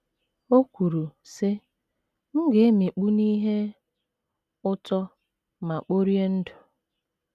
O kwuru, sị: “ M ga - emikpu n’ihe ụtọ ma kporie ndụ. ”